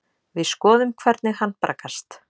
Við skoðum hvernig hann braggast.